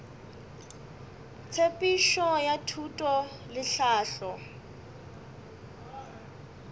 tshepedišo ya thuto le tlhahlo